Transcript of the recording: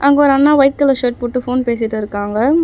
அங்க ஒரு அண்ணா ஒயிட் கலர் ஷர்ட் போட்டு ஃபோன் பேசிட்டிருக்காங்க.